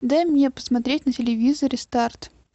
дай мне посмотреть на телевизоре старт